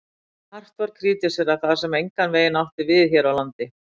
Hart var krítiserað það, sem engan veginn átti við hér á landi.